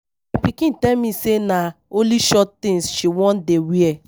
My pikin tell me say na only short things she wan dey wear